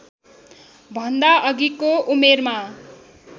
भन्दा अघिको उमेरमा